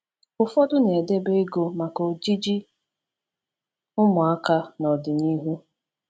Ụfọdụ na-edebe ego maka ojiji ụmụaka n’ọdịnihu.